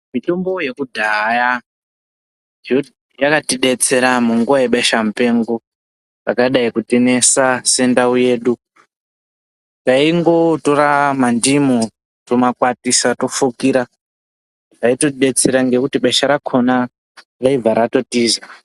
Mitombo yekudhaya yakatidetsera munguva yebeshamupengo rakadai kutinesa sendau yedu. Taingotora mandimu tomakwatisa tomafukira. Zvaitotidetsera ngekuti besha rakhona raibva ratotiza.